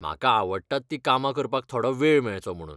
म्हाका आवडटात तीं कामां करपाक थोडो वेळ मेळचो म्हणून.